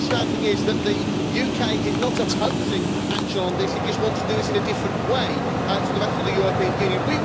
My understanding is that the UK is not opposing action on this, it just wants to do it in a different way to the rest of the European Union.